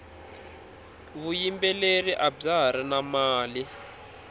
vuyimbeleri abya hari na mali